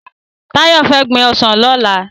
Tayo fè gbin òsán lòlá